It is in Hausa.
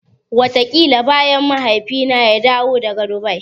Wataƙila bayan Mahaifina ya dawo daga Dubai.